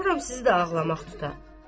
qorxuram sizi də ağlamaq tuta.